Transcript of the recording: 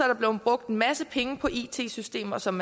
der blevet brugt en masse penge på it systemer som